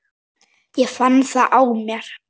Ég fann það á mér.